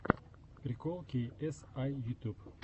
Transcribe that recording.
прикол кей эс ай ютюб